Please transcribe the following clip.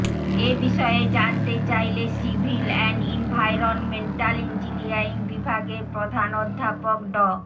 এ বিষয়ে জানতে চাইলে সিভিল অ্যান্ড ইনভায়রনমেন্টাল ইঞ্জিনিয়ারিং বিভাগের প্রধান অধ্যাপক ড